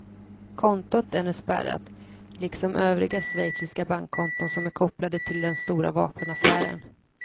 Kontot är nu spärrat, liksom övriga schweiziska bankkonton som är kopplade till den stora vapenaffären.